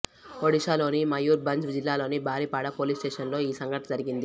ఓడిషాలోని మయుర్ భంజ్ జిల్లాలోని Baripada police station లో ఈ సంఘటన జరిగింది